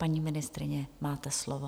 Paní ministryně, máte slovo.